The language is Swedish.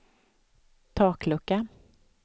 taklucka